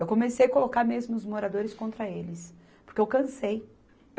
Eu comecei colocar mesmo os moradores contra eles, porque eu cansei.